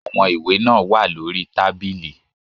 Àwọn ìwé náà wà lórí tábìlì.